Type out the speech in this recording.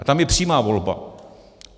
A tam je přímá volba.